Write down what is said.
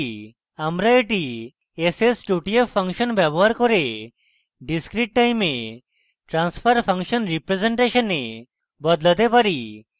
আমরা এটি s s 2 t f function ব্যবহার করে discrete time a transfer function representation a বদলাতে পারি